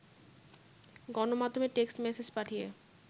গণমাধ্যমে text message পাঠিয়ে